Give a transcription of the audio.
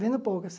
Vendo poucas.